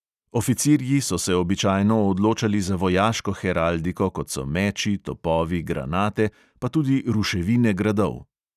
Oficirji so se običajno odločali za vojaško heraldiko, kot so meči, topovi, granate, pa tudi ruševine gradov.